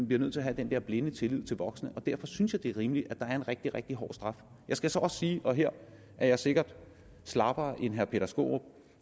bliver nødt til at have den der blinde tillid til voksne derfor synes jeg det er rimeligt at der er en rigtig rigtig hård straf jeg skal så også sige og her er jeg sikkert slappere end herre peter skaarup